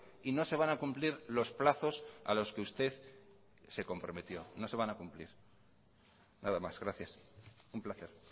y no se van a cumplir los plazos a los que usted se comprometió no se van a cumplir nada más gracias un placer